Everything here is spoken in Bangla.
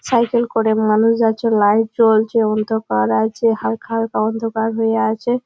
সাইকেল করে মানুষ যাচ্ছে লাইট জ্বলছে অন্ধকার আছে হালকা হালকা অন্ধকার হয়ে আছে।